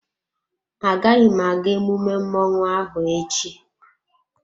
Agaghị m aga emume mmọnwụ ahụ echi.